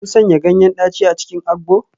Kun sanya ganyen daci a cikin agbo?